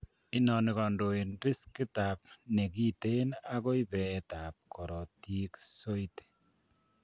Inoni kondein riskit ab nekiten akoi beet ab koritik soiti